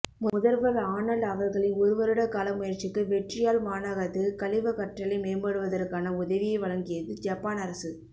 முதல்வர் ஆனல்ட் அவர்களின் ஒருவருடகால முயற்சிக்கு வெற்றி யாழ் மாநகரத்திற்கு கழிவகற்றலை மேம்படுத்துவதற்கான உதவியை வழங்கியது ஜப்பான் அரசு